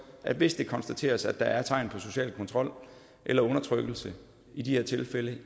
at hvis det konstateres at der er tegn på social kontrol eller undertrykkelse i de her tilfælde